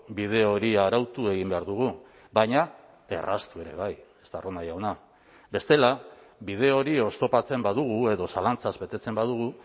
bide hori arautu egin behar dugu baina erraztu ere bai estarrona jauna bestela bide hori oztopatzen badugu edo zalantzaz betetzen badugu